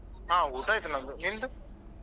ಹಾ ಊಟ ಆಯ್ತು ನಂದು, ನಿಂದು?